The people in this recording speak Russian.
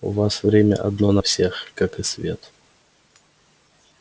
у вас время одно на всех как и свет